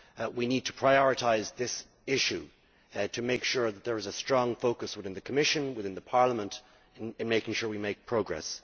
we need to prioritise this issue to make sure that there is a strong focus within the Commission, within Parliament, on making sure we make progress.